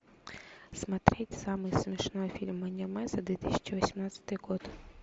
смотреть самый смешной фильм аниме за две тысячи восемнадцатый год